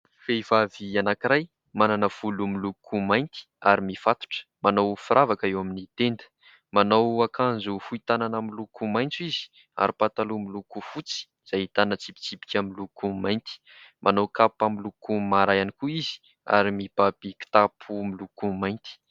Vehivavy anankiray manana volo miloko mainty ary mifatotra manao firavaka eo amin'ny tenda manao akanjo fohy tanana miloko maitso izy ary pataloha miloko fotsy izay ahitana tsipitsipika miloko mainty. Manao kapa miloko mara ihany koa izy ary mibaby kitapo miloko mainty.